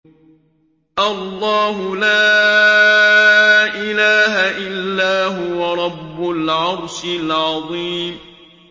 اللَّهُ لَا إِلَٰهَ إِلَّا هُوَ رَبُّ الْعَرْشِ الْعَظِيمِ ۩